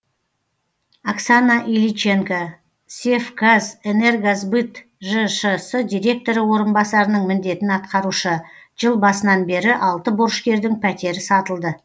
оксана иличенко севказэнергосбыт жшс директоры орынбасарының міндетін атқарушы жыл басынан бері алты борышкердің пәтері сатылды